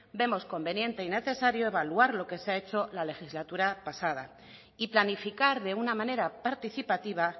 vemos conveniente y necesario evaluar lo que se ha hecho en la legislatura pasada y planificar de una manera participativa